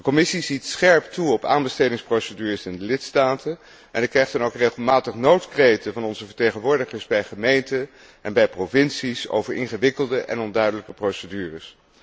De Commissie ziet scherp toe op aanbestedingsprocedures in de lidstaten, en ik krijg dan ook regelmatig noodkreten van onze vertegenwoordigers bij gemeenten en bij provincies over ingewikkelde en onduidelijke procedures.